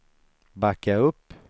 backa upp